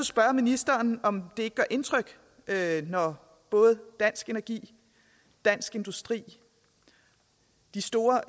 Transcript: spørge ministeren om det gør indtryk når både dansk energi dansk industri de store